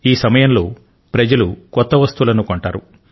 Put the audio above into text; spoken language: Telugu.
ఈ సమయంలో ప్రజలు కొత్త వస్తువులను కొంటారు